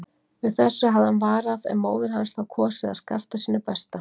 Við þessu hafði hann varað en móðir hans þá kosið að skarta sínu besta.